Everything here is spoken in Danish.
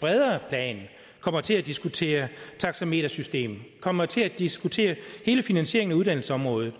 bredere plan kommer til at diskutere taxametersystem kommer til at diskutere hele finansieringen af uddannelsesområdet